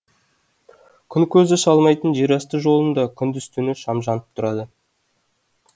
күн көзі шалмайтын жерасты жолында күндіз түні шам жанып тұрады